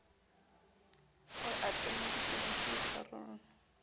o atameditse haufi le tharollo